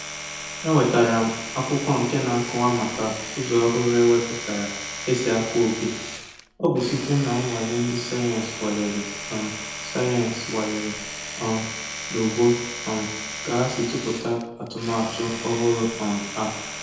Enwetara m akwụkwọ nke na-akọwa maka ụzọ ọhụrụ ewepụtara esi akọ ubi. Ọ bụ site na nnwale ndị sayensi nwalere um sayensi nwalere um na ugbo um ka ha si tụpụta atụmatụ ọhụrụ um a